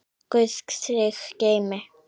Guð þig geymi.